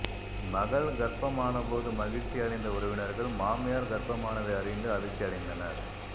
மகள் கர்ப்பம் ஆன போது மகிழ்ச்சி அடைந்த உறவினர்கள் மாமியார் கர்ப்பமானதை அறிந்து அதிர்ச்சி அடைந்தனர்